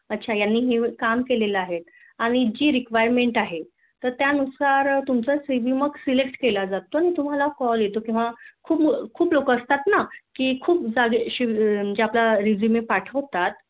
अच्छा हिने हे काम केले आहे आणि जी Requirement आहे त्यानुसार तुमचा CV मग Select केला जातो अन तुम्हला कॉल येतो. कि बुवा खूप लोक असतात ना. कि खूप जागी अं आपला Resume पाठवतात.